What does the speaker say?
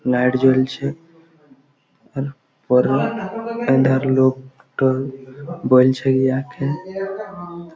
light জ্বলছে-এ উ-পর-র আঁধার লোক বল বলছে ইহাকে--